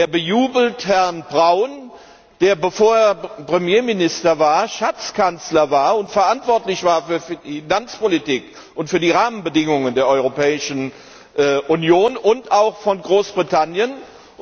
Er bejubelt Herrn Brown, der, bevor er Premierminister wurde, Schatzkanzler und somit verantwortlich für die Finanzpolitik und für die Rahmenbedingungen der Europäischen Union und auch von Großbritannien war.